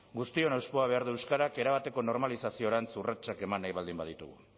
guztion hauspoa behar du euskarak erabateko normalizaziorantz urratsak eman nahi baldin baditugu